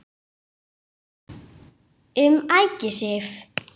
Um Ægisif